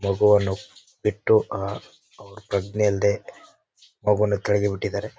ಮಗುವನ್ನು ಬಿಟ್ಟು ಅಹ್ ಅವ್ರ ಪ್ರಜ್ಞೆ ಅಲ್ಲದೆ ಮಗುವನ್ನು ಕೆಳಗೆ ಬಿಟ್ಟಿದ್ದಾರೆ.